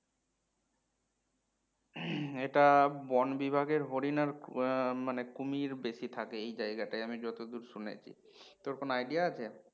এটা বনবিভাগের হরিণ আর হম মানে কুমীর বেশি থাকে এই জায়গাটায় আমি যতদূর শুনেছি তোর কোনো Idea আছে?